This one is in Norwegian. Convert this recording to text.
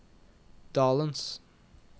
dalens